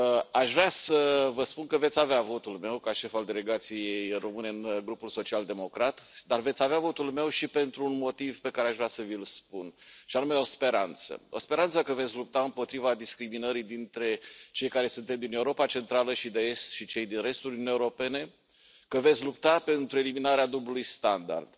Aș vrea să vă spun că veți avea votul meu ca șef al delegației române în Grupul Social Democrat, dar veți avea votul meu și pentru un motiv pe care aș vrea să vi l spun și anume o speranță, speranța că veți lupta împotriva discriminării dintre cei care suntem din Europa Centrală și de Est și cei din restul Uniunii Europene, că veți lupta pentru eliminarea dublului standard.